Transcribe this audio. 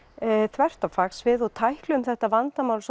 þvert á fagsvið og tækluðum þetta vandamál